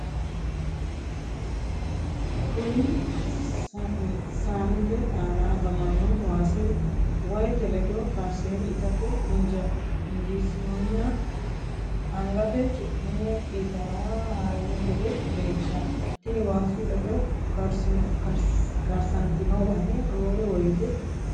Kuni saanete aana afamanno waasi wahete ledo karsine itate injesininnoha angate cu'me itaara harino gede leellishshanno . tini waasu ledo karsantino wahe roore woyite qoqete yinaanni.